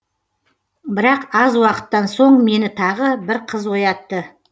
бірақ аз уақыттан соң мені тағы бір қыз оятты